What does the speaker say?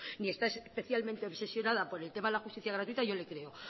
ni está especialmente obsesionada por el tema de la justicia gratuita yo le creo